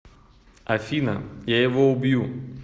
афина я его убью